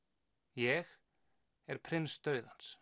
ég er prins dauðans